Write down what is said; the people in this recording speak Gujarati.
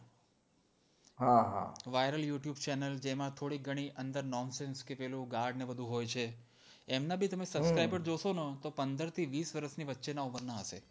હા હા વાયરલ youtube channel જેમાં થોડી ઘણી અંદર nonsense અને ગાળ ને બધું હોય છે એમના બી તમે subscriber જોશો ન તો પંદર થી વીસ વર્ષની વચ્ચે ના ઉમરનાં હશે